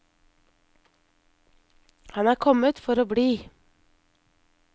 Han er kommet for å bli.